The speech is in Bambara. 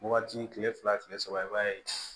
Wagati kile fila kile saba i b'a ye